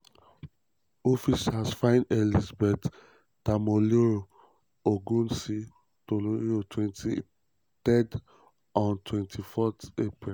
officers find elizabeth tamilore odunsi tamilore odunsi 23 on 26 april wen